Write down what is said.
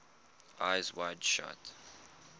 eyes wide shut